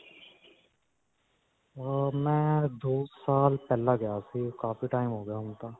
ਅਅ ਮੈਂ ਦੋ ਸਾਲ ਪਹਿਲਾਂ ਗਿਆ ਸੀ ਕਾਫੀ time ਹੋ ਗਿਆ ਹੁਣ ਤਾਂ.